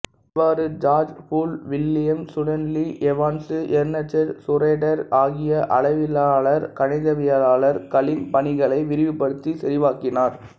இவ்வாறு George Boole William Stanley Evans Ernst Schroder ஆகிய அளவையியலாளர் கணிதவியலாளர்களின் பணிகளை விரிவுபடுத்தி செறிவாக்கினார்